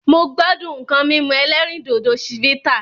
Mo gbádùn nǹkan mímú ẹlẹ́rìndòdò Chivita